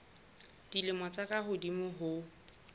dilemo tse ka hodimo ho